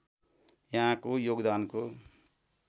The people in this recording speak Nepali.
यहाँको योगदानको